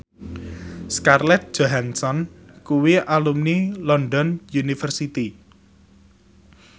Scarlett Johansson kuwi alumni London University